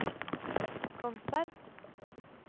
Kongsberg